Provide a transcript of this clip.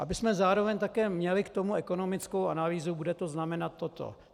- abychom zároveň také měli k tomu ekonomickou analýzu: Bude to znamenat toto.